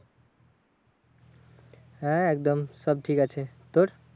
হ্যাঁ একদম সব ঠিক আছে। তোর?